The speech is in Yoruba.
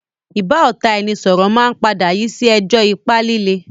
ìbáọ̀tàẹnisọọ̀rọ̀ máa ń padà yii si ẹjọ́ ipá lílé